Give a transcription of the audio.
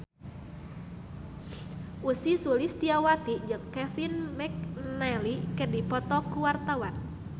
Ussy Sulistyawati jeung Kevin McNally keur dipoto ku wartawan